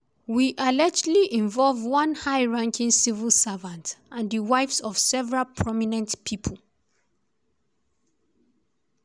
wey allegedly involve one high-ranking civil servant and di wives of several prominent pipo.